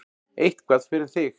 Eitthvað fyrir þig